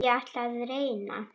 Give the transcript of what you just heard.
En ég ætla að reyna.